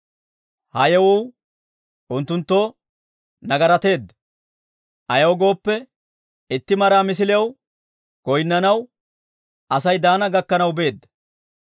Ha yewuu unttunttoo nagarateedda; ayaw gooppe, itti maraa misiliyaw goynnanaw Asay Daana gakkanaw beedda.